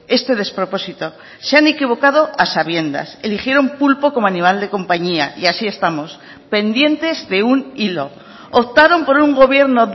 este despropósito se han equivocado a sabiendas eligieron pulpo como animal de compañía y así estamos pendientes de un hilo optaron por un gobierno